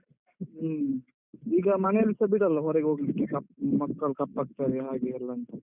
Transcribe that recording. ಹ್ಮ ಈಗ ಮನೆಯಲ್ಲಿಸ ಬಿಡಲ್ಲ ಹೊರಗೆ ಹೋಗ್ಲಿಕ್ಕೆ, ಕಪ್ ಮಕ್ಕಳು ಕಪ್ಪಾಗ್ತಾರೆ ಹಾಗೆ ಎಲ್ಲ ಅಂತ.